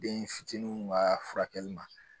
Den fitininw ka furakɛli ma